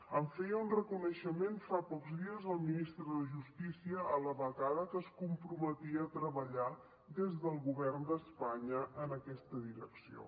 en feia un reconeixement fa pocs dies el ministre de justícia a la vegada que es comprometia a treballar des del govern d’espanya en aquesta direcció